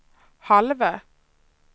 halva